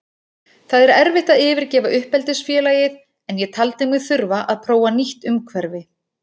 Það er erfitt að yfirgefa uppeldisfélagið en ég taldi mig þurfa að prófa nýtt umhverfi.